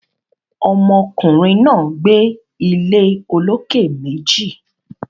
Ọmọ kùnrin náà gbé ilé olókè méjì